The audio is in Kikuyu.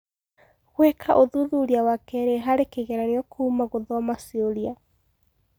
Gũĩka ũthuthuria wa keerĩ harĩ kĩgeranio kuuma gũthoma ciũria